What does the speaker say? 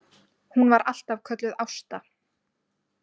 Hún var alltaf kölluð Ásta.